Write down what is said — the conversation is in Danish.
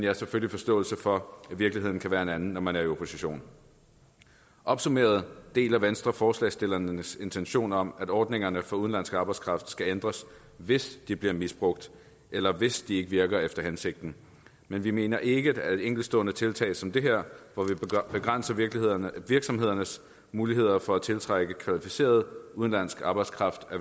har selvfølgelig forståelse for at virkeligheden kan være en anden når man er i opposition opsummeret deler venstre forslagsstillernes intention om at ordningerne for udenlandsk arbejdskraft skal ændres hvis de bliver misbrugt eller hvis de ikke virker efter hensigten men vi mener ikke at enkeltstående tiltag som det her hvor vi begrænser virksomhedernes virksomhedernes muligheder for at tiltrække kvalificeret udenlandsk arbejdskraft